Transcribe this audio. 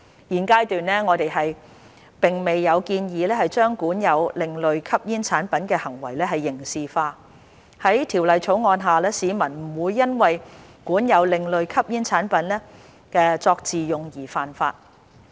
現階段，我們並未有建議將管有另類吸煙產品的行為刑事化，在《條例草案》下，市民不會因為管有另類吸煙產品作自用而犯法。